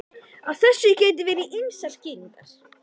Á þessu geta verið ýmsar skýringar.